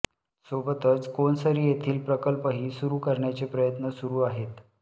सोबतच कोनसरी येथील प्रकल्पही सुरु करण्याचे प्रयत्न सुरु आहेत